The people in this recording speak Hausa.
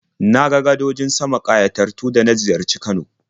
Na ga gadojin sama ƙayatattu da na ziyarci Kano.